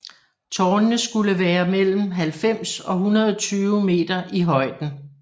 Tårnene skulle være mellem 90 og 120 meter i højden